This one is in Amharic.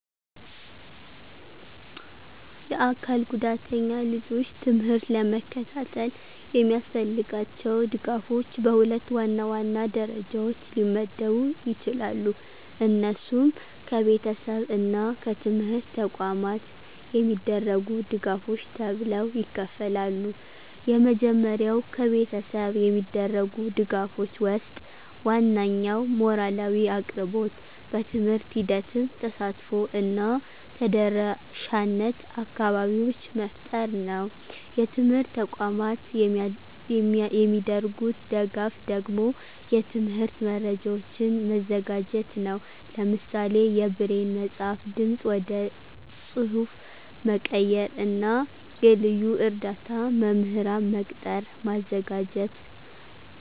የአካል ጉዳተኛ ልጆች ትምህርት ለመከታተል የሚያስፈልጋቸው ድጋፎች በሁለት ዋናዋና ደረጃዎች ሊመደቡ ይችላሉ። እነሱም ከቤተሰብ እና ከትምህርት ተቋማት የሚደረጉ ድጋፎች ተብለው ይከፍላሉ። የመጀመሪያው ከቤተሰብ የሚደረጉ ድጋፎች ወስጥ ዋናኛው ሞራላዊ አቅርቦት፣ በትምህርት ሂደትም ተሳትፎ እና ተደረሻነት አካባቢዎች መፍጠር ነው። የትምርት ተቋማት የሚደርጉት ደጋፍ ደግሞ የትምህርት መረጃዎችን መዘጋጀት ነው። ለምሳሌ የብሬን መፅሐፍ፣ ድምፅ ወደ ፅሐፍ መቀየር እና የልዩ እርዳ መምህራን መቅጠር ማዘጋጀት....